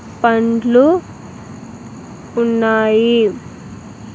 పండ్లు ఉన్నాయి.